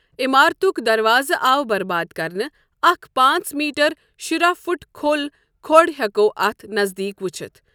عمارتٗك دروازٕ آو برباد كرنہٕ ، اكھ پانژھ میٹر شُراہ فٗٹ كھو٘ل كھو٘ڈ ہیكو٘ اتھ نزدیك وُچھِتھ ۔